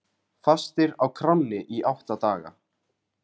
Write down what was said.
Fastir á kránni í átta daga